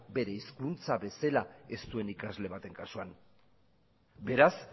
bere hezkuntza bezala ez duen ikasle baten kasuan beraz